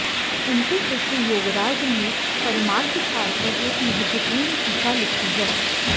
इनके शिष्य योगराज ने परमार्थसार पर एक महत्वपूर्ण टीका लिखी है